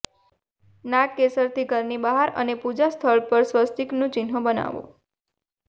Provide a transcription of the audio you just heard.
નાગકેસરથી ઘરની બહાર અને પૂજા સ્થળ પર સ્વસ્તિકનું ચિન્હ બનાવો